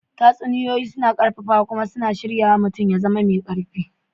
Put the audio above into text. Tatsuniyoyi suna ƙarfafawa kuma suna shirya mutum ya zama mai ƙarfi.